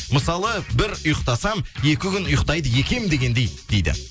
мысалы бір ұйықтасам екі күн ұйықтайды екенмін дегендей дейді